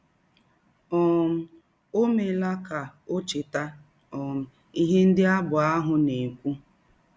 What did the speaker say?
um Ọ meela ka ọ cheta um ihe ndị abụ ahụ na - ekwụ.